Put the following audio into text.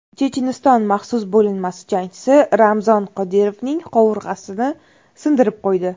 Checheniston maxsus bo‘linmasi jangchisi Ramzon Qodirovning qovurg‘asini sindirib qo‘ydi.